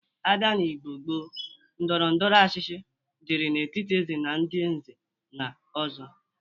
A bia n'Igbo gboo, ndọrọndọrọ ọchịchị dịri n'etiti Eze na ndị nze na ọzọ,